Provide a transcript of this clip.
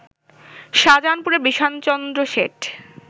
শাহজাহানপুরের Bishanchandra Seth